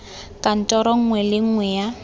kantoro nngwe le nngwe ya